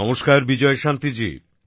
নমস্কার বিজয় শান্তি জি